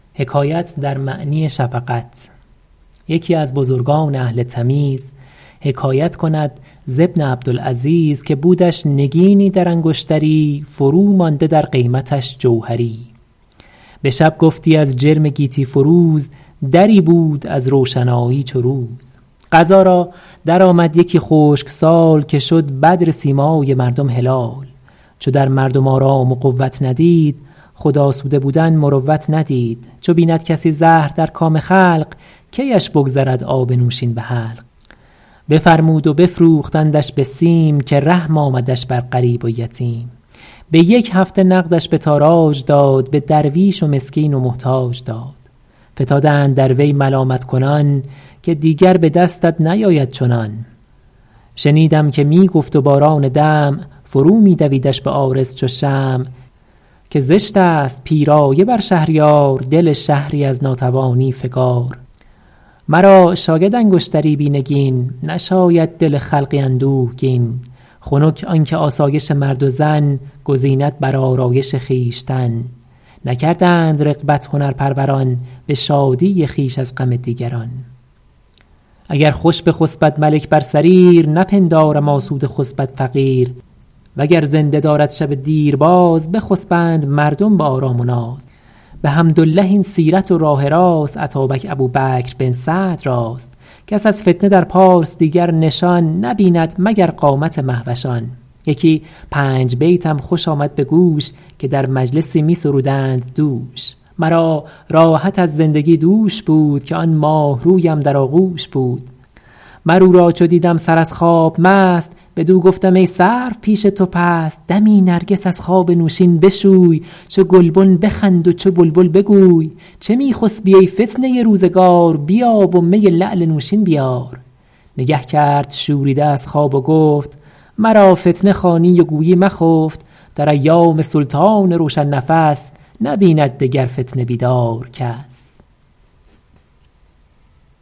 یکی از بزرگان اهل تمیز حکایت کند ز ابن عبدالعزیز که بودش نگینی در انگشتری فرو مانده در قیمتش جوهری به شب گفتی از جرم گیتی فروز دری بود از روشنایی چو روز قضا را درآمد یکی خشک سال که شد بدر سیمای مردم هلال چو در مردم آرام و قوت ندید خود آسوده بودن مروت ندید چو بیند کسی زهر در کام خلق کیش بگذرد آب نوشین به حلق بفرمود و بفروختندش به سیم که رحم آمدش بر غریب و یتیم به یک هفته نقدش به تاراج داد به درویش و مسکین و محتاج داد فتادند در وی ملامت کنان که دیگر به دستت نیاید چنان شنیدم که می گفت و باران دمع فرو می دویدش به عارض چو شمع که زشت است پیرایه بر شهریار دل شهری از ناتوانی فگار مرا شاید انگشتری بی نگین نشاید دل خلقی اندوهگین خنک آن که آسایش مرد و زن گزیند بر آرایش خویشتن نکردند رغبت هنرپروران به شادی خویش از غم دیگران اگر خوش بخسبد ملک بر سریر نپندارم آسوده خسبد فقیر وگر زنده دارد شب دیر باز بخسبند مردم به آرام و ناز بحمدالله این سیرت و راه راست اتابک ابوبکر بن سعد راست کس از فتنه در پارس دیگر نشان نبیند مگر قامت مهوشان یکی پنج بیتم خوش آمد به گوش که در مجلسی می سرودند دوش مرا راحت از زندگی دوش بود که آن ماهرویم در آغوش بود مر او را چو دیدم سر از خواب مست بدو گفتم ای سرو پیش تو پست دمی نرگس از خواب نوشین بشوی چو گلبن بخند و چو بلبل بگوی چه می خسبی ای فتنه روزگار بیا و می لعل نوشین بیار نگه کرد شوریده از خواب و گفت مرا فتنه خوانی و گویی مخفت در ایام سلطان روشن نفس نبیند دگر فتنه بیدار کس